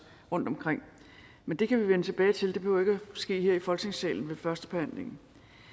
rundtomkring men det kan vi vende tilbage til det behøver ikke ske her i folketingssalen ved førstebehandlingen